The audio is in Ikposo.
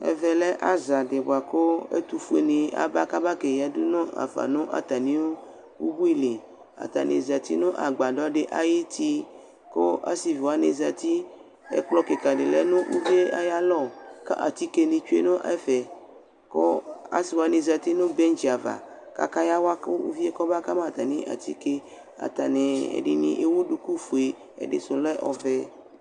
Ɛvɛ lɛ azadɩ bʋa kʋ ɛtʋfuenɩ aba kabaa ke yǝdu nʋ afa nʋ atamɩʋ ubui li Atanɩ zati nʋ agbadɔ dɩ ay'uti , kʋ asɩvi wanɩ zati; ɛkplɔ kɩkadɩnlɛ nʋ uvie ay'alɔ kɛ atikenɩ tsue nʋ ɛfɛ Kɔ asɩ wanɩ zati nʋ bɛŋtsɩ ava k'aka yawa kʋ uvie kɔmaba ka ma atamɩ atike Atanɩ ɛdɩnɩ ewu dukufue , ɛdɩsʋ lɛ ɔvɛ